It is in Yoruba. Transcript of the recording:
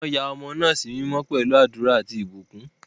Wọ́n ya ọmọ náà sí mímọ́ pẹ̀lú àdúrà àti ìbùkún.